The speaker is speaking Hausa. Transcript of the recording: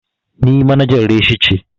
Ni manajar reshi ce.